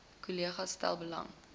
kollegas stel belang